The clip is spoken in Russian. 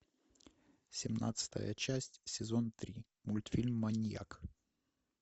семнадцатая часть сезон три мультфильм маньяк